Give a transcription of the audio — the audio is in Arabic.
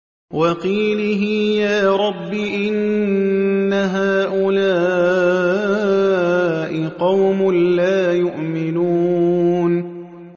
وَقِيلِهِ يَا رَبِّ إِنَّ هَٰؤُلَاءِ قَوْمٌ لَّا يُؤْمِنُونَ